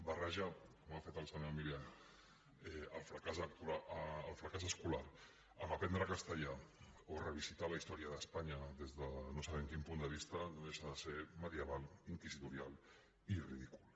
barrejar com ha fet el senyor milián el fracàs escolar amb el fet d’aprendre castellà o revisitar la història d’espanya des de no sabem quin punt de vista no deixa de ser medieval inquisitorial i ridícul